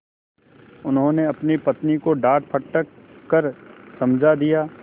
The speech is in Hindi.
उन्होंने अपनी पत्नी को डाँटडपट कर समझा दिया